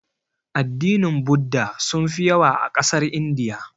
Addinin budda sunfi yawa a ƙasar Indiya.